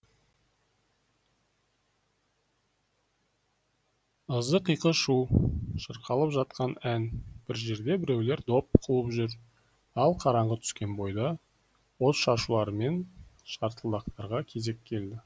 ызы қиқы шу шырқалып жатқан ән бір жерде біреулер доп қуып жүр ал қараңғы түскен бойда от шашулар мен шартылдақтарға кезек келеді